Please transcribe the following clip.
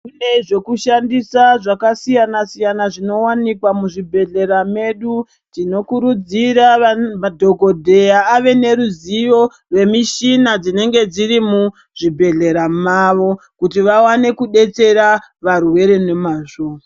Kune zveku shandisa zvaka siyana siyana zvino wanikwa mu zvibhedhlera medu tino kurudzira madhokodheya ave ne ruzivo ne mishina dzinenge dziri mu zvibhedhlera mavo kuti vawane kudetsera varwere ne mazvo.